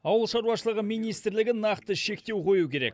ауыл шаруашылығы министрлігі нақты шектеу қою керек